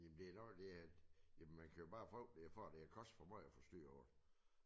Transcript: Jamen det nok det at jamen man kan jo bare håbe de er færdig før det har kostet for meget at få styr på det